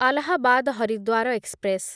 Allahabad Haridwar express